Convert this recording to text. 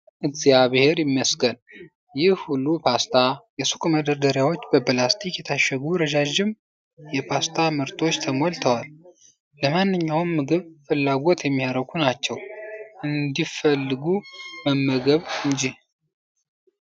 እግዚአብሔር ይመስገን! ይህ ሁሉ ፓስታ! የሱቅ መደርደሪያዎች በፕላስቲክ የታሸጉ ረዣዥም የፓስታ ምርቶች ተሞልተዋል፤ ለማንኛውም ምግብ ፍላጎት የሚያረኩ ናቸው! እንዲፈልጉ መመገብ ነው እንጂ።